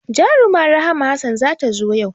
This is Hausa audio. Jaruma Rahma Hassan za ta zo yau